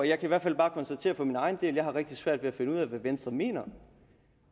jeg kan i hvert fald bare konstatere for min egen del at jeg har rigtig svært ved at finde ud af hvad venstre mener